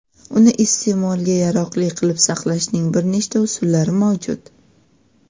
uni iste’molga yaroqli qilib saqlashning bir nechta usullari mavjud:.